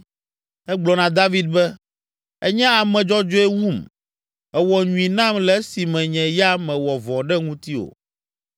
Egblɔ na David be, “Ènye ame dzɔdzɔe wum. Èwɔ nyui nam le esime nye ya mewɔ vɔ̃ ɖe ŋutiwò.